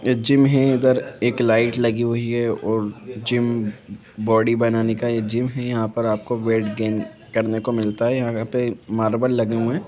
Gym है इधर एक लाइट लगी हुई है और जिम बॉडी बनाने का जिम है यहाँ पर आपको वेट कम करने को मिलता है यहाँ पे मार्बल लगे हुए हैं ।।